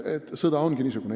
Justkui sõda ongi niisugune.